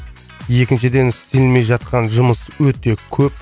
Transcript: екіншіден істелмей жатқан жұмыс өте көп